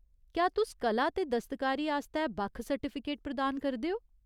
क्या तुस कला ते दस्तकारी आस्तै बक्ख सर्टिफिकेट प्रदान करदे ओ ?